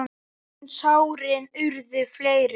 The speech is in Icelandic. En sárin urðu fleiri.